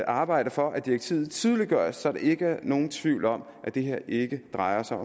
arbejde for at direktivet tydeliggøres så der er ikke nogen tvivl om at det her ikke drejer sig